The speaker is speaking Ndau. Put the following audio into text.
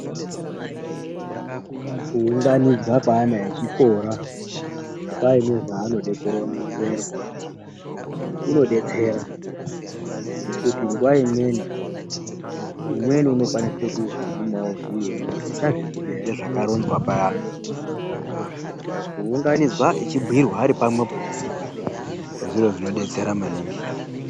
Kuunganidzwa kweana echikora paine zvaanode kuronzerwa kunodetsera ngekuti nguwa imweni umweni unokwanise kuzogume wobhuyire umweni kuti uchazviziya ere zvakaronzwa payani, saka kuunganidzwa echibhuyirwa aripamwepo zviro zvinodetsera maningi.